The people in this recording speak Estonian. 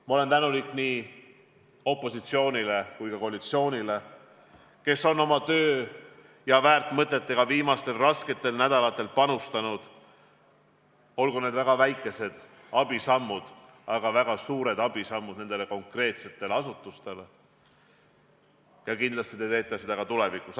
Ma olen tänulik nii opositsioonile kui ka koalitsioonile, kes on töö ja väärt mõtetega viimastel rasketel nädalatel oma panuse andnud – ka teie väikesed abisammud on konkreetsetele asutustele väga suureks abiks ja kindlasti annate oma panuse ka tulevikus.